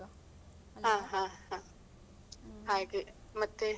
ಹಾ ಹಾ ಹಾ ಹಾಗೆ ಮತ್ತೆ.